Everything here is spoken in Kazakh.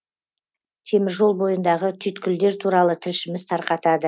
теміржол бойындағы түйіткілдер туралы тілшіміз тарқатады